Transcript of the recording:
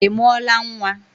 Ị mụọla nwa?